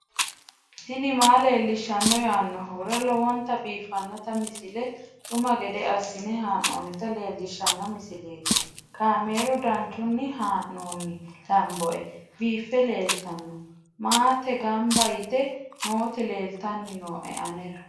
tini maa leelishshanno yaannohura lowonta biiffanota misile xuma gede assine haa'noonnita leellishshanno misileeti kaameru danchunni haa'noonni lamboe biiffe leeeltanno maate gamba yite nooti leeltanni nooe anera